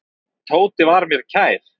Tóti var mér kær.